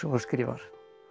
og skrifar